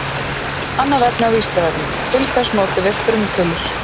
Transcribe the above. Annað efni á Vísindavefnum: Til hvers notum við frumtölur?